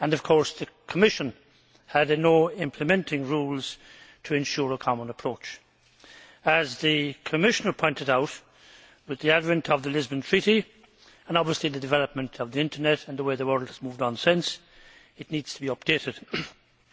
Of course the Commission had no implementing rules to ensure a common approach. As the Commissioner pointed out, with the advent of the Lisbon Treaty and obviously the development of the internet and the way the world has moved on since it needs to be updated.